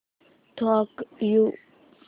thank you